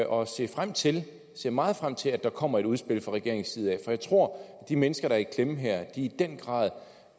og se frem til jeg ser meget frem til at der kommer et udspil fra regeringens side jeg tror at de mennesker der er i klemme her i den grad